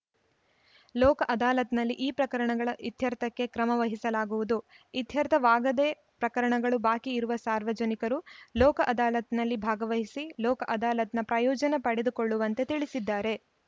ಲೋಕ ಅದಾಲತ್‌ನಲ್ಲಿ ಈ ಪ್ರಕರಣಗಳ ಇತ್ಯರ್ಥಕ್ಕೆ ಕ್ರಮ ವಹಿಸಲಾಗುವುದು ಇತ್ಯರ್ಥವಾಗದೇ ಪ್ರಕರಣಗಳು ಬಾಕಿ ಇರುವ ಸಾರ್ವಜನಿಕರು ಲೋಕ ಅದಾಲತ್‌ನಲ್ಲಿ ಭಾಗವಹಿಸಿ ಲೋಕ ಅದಾಲತ್‌ನ ಪ್ರಯೋಜನ ಪಡೆದುಕೊಳ್ಳುವಂತೆ ತಿಳಿಸಿದ್ದಾರೆ